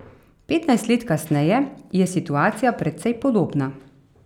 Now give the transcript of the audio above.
Petnajst let kasneje je situacija precej podobna.